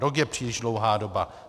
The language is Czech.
Rok je příliš dlouhá doba.